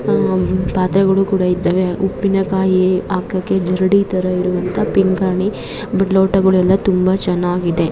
ಪಾತ್ರೆಗಳು ಕೂಡ ಇದ್ದಾವೆ ಉಪ್ಪಿನ ಕಾಯಿ ಹಾಕಕ್ಕೆ ಜರಡಿ ತಾರಾ ಇರೋಅಂತಹ ಪಿಂಗಾಣಿ ಲೋಟಗಳುಯಲ್ಲ ತುಂಬಾ ಚೆನ್ನಾಗಿದೆ --